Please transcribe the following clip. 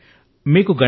చెప్పండి సర్